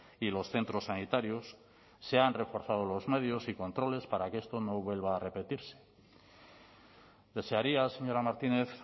y los centros sanitarios se han reforzado los medios y controles para que esto no vuelva a repetirse desearía señora martínez